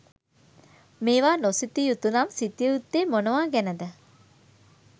මේවා නොසිතිය යුතු නම්, සිතිය යුත්තේ් මොනවා ගැන ද?